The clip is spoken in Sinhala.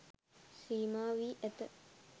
සීමා වී ඇත.